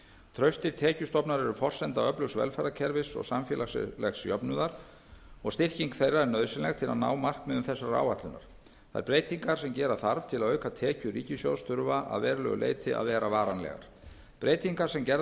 traustir tekjustofnar eru forsenda öflugs velferðarkerfis og samfélagslegs jöfnuðar og styrking þeirra er nauðsynleg til að ná markmiðum þessarar áætlunar þær breytingar sem gera þarf til að auka tekjur ríkissjóðs þurfa að verulegu leyti að vera varanlegar breytingar sem gerðar hafa